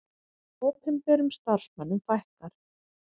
Opinberum starfsmönnum fækkar